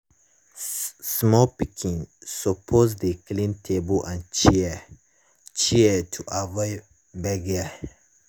small pikin suppose dey clean table and chair chair to avoid gbege.